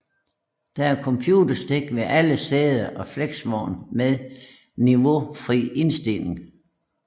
Der er computerstik ved alle sæder og flexvogn med niveaufri indstigning